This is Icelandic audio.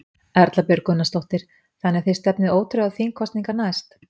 Erla Björg Gunnarsdóttir: Þannig að þið stefnið ótrauð á þingkosningar næst?